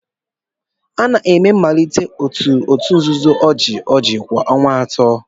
A na-eme mmalite otu òtù nzuzo ojii ojii kwa ọnwa atọ.